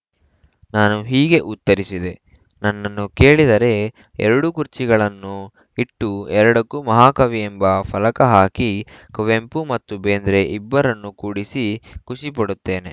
ನಾನು ಹೀಗೆ ಉತ್ತರಿಸಿದೆ ನನ್ನನ್ನು ಕೇಳಿದರೆ ಎರಡು ಕುರ್ಚಿಗಳನ್ನು ಇಟ್ಟು ಎರಡಕ್ಕೂ ಮಹಾಕವಿ ಎಂಬ ಫಲಕಹಾಕಿ ಕುವೆಂಪು ಮತ್ತು ಬೇಂದ್ರೆ ಇಬ್ಬರನ್ನೂ ಕೂಡಿಸಿ ಖುಷಿ ಪಡುತ್ತೇನೆ